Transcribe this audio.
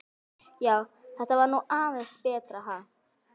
Já, þetta var nú aðeins betra, ha!